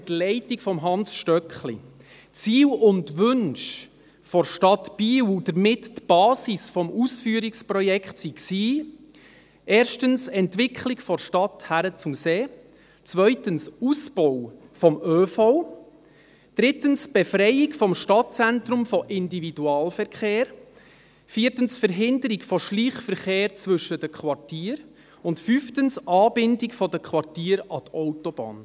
Ziele und Wünsche der Stadt Biel und damit die Basis des Ausführungsprojekts waren erstens die Entwicklung von der Stadt hin zum See, zweitens der Ausbau des ÖV, drittens die Befreiung des Stadtzentrums vom Individualverkehr, viertens die Verhinderung von Schleichverkehr zwischen den Quartieren, fünftens die Anbindung der Quartiere an die Autobahn.